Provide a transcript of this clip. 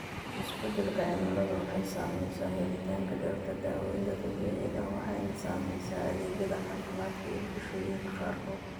Isbeddelka cimiladu waxay saamaysaa helitaanka dhirta daawaynta dabiiciga ah, waxayna saamaysaa adeegyada caafimaadka ee bulshooyinka qaarkood.